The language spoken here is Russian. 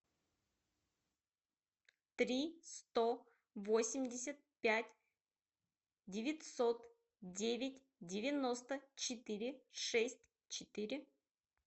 три сто восемьдесят пять девятьсот девять девяносто четыре шесть четыре